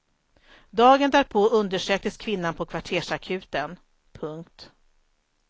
Dagen därpå undersöktes kvinnan på kvartersakuten. punkt